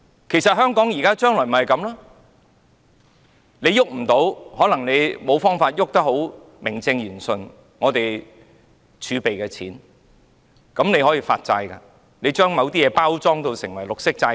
其實，香港將來就是這樣，政府無法名正言順動用儲備，所以便發債，把某些東西包裝成為綠色債券。